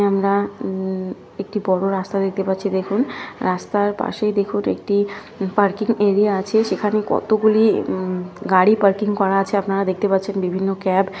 আমরা উম একটি বড় রাস্তা দেখতে পাচ্ছি। দেখুন রাস্তার পাশেই দেখুন একটি পার্কিং এরিয়া আছে। সেখানে কতগুলি গাড়ি উম পার্কিং করা আছে । আপনারা দেখতে পাচ্ছেন। বিভিন্ন ক্যাব ।